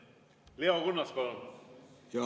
Leo Kunnas, palun!